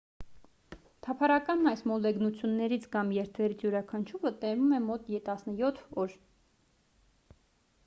թափառական այս մոլեգնություններից կամ երթերից յուրաքանչյուրը տևում է մոտ 17 օր